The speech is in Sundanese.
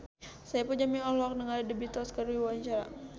Saipul Jamil olohok ningali The Beatles keur diwawancara